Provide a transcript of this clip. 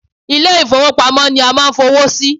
Ilé ìfọwọ́pamo ni a máà ń fowó sí.